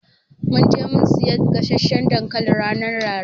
Mun je mun siya gasasshan dankali ranar Laraba.